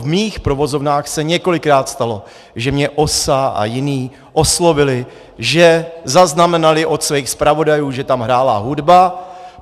V mých provozovnách se několikrát stalo, že mě OSA a jiní oslovili, že zaznamenali od svých zpravodajů, že tam hrála hudba.